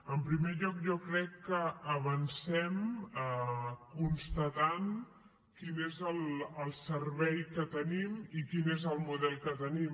en primer lloc jo crec que avancem constatant quin és el servei que tenim i quin és el model que tenim